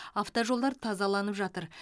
автожолдар тазаланып жатыр